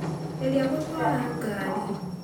Gerĩa gũtwara ngarĩ.